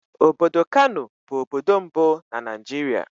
Obodo Kanù bụ obodo mbụ na Naịjirịa.